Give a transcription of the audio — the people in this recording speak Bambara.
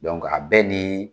a bɛɛ ni